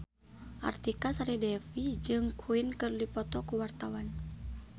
Artika Sari Devi jeung Queen keur dipoto ku wartawan